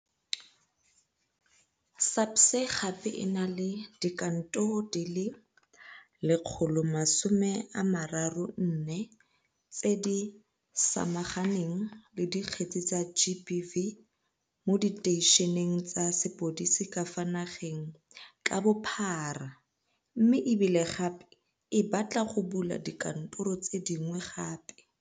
SAPS gape e na le dikantoro di le 134 tse di samaganeng le dikgetse tsa GBV mo diteišeneng tsa sepodisi ka fa nageng ka bophara mme e bile gape e batla go bula dikantoro tse dingwe gape.